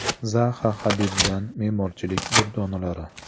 Zaxa Hadiddan me’morchilik durdonalari.